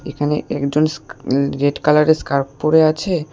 এখানে একজন স্কা অ্যঁ রেড কালার এর স্কার্প পরে আছে।